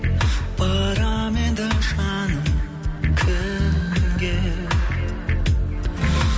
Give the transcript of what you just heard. барамын енді жаным кім кімге